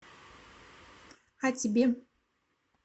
а тебе